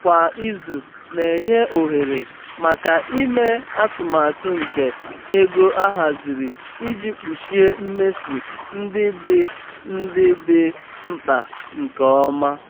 kwa izu na-enye ohere maka ime atụmata nke um ego ahaziri iji kpuchie mmefu ndị dị ndị dị mkpa nke ọma. um